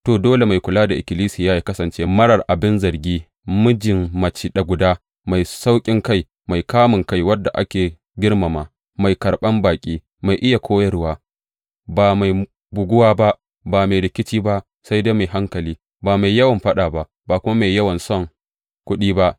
To, dole mai kula da Ikkilisiya yă kasance marar abin zargi, mijin mace guda, mai sauƙinkai, mai kamunkai, wanda ake girmama, mai karɓan baƙi, mai iya koyarwa, ba mai buguwa ba, ba mai rikici ba sai dai mai hankali, ba mai yawan faɗa ba, ba kuma mai yawan son kuɗi ba.